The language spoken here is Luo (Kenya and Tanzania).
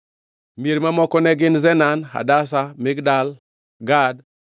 Mier mamoko ne gin: Zenan, Hadasha, Migdal Gad,